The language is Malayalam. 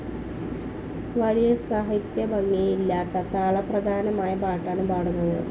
വലിയ സാഹിത്യഭംഗിയില്ലാത്ത താളപ്രധാനമായ പാട്ടാണ് പാടുന്നത്.